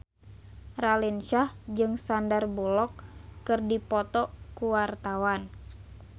Raline Shah jeung Sandar Bullock keur dipoto ku wartawan